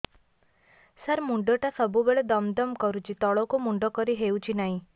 ସାର ମୁଣ୍ଡ ଟା ସବୁ ବେଳେ ଦମ ଦମ କରୁଛି ତଳକୁ ମୁଣ୍ଡ କରି ହେଉଛି ନାହିଁ